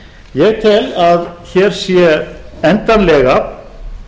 ég tel að hér sé endanlega